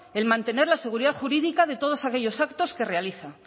el mantener la seguridad jurídica de todos aquellos actos que realizan